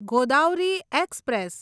Godavari express